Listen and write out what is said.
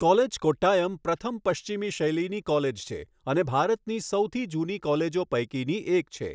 College, Kottayam પ્રથમ પશ્ચિમી શૈલીની કોલેજ છે અને ભારતની સૌથી જૂની કોલેજો પૈકીની એક છે.